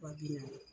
Wa bi naani